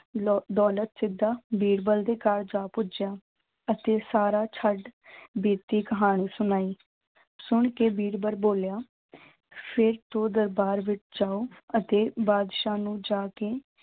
ਲੋ ਦੌਲਤ ਸਿੱਧਾ ਬੀਰਬਲ ਦੇ ਘਰ ਜਾ ਪੁੱਜਿਆ ਅਤੇ ਸਾਰਾ ਛੱਡ ਬੀਤੀ ਕਹਾਣੀ ਸੁਣਾਈ, ਸੁਣ ਕੇ ਬੀਰਬਲ ਬੋਲਿਆ ਫਿਰ ਤੋਂ ਦਰਬਾਰ ਵਿੱਚ ਜਾਓ ਅਤੇ ਬਾਦਸ਼ਾਹ ਨੂੰ ਜਾ ਕੇ